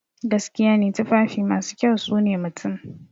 Gaskiya ne, tufafi masu kyau sune mutum.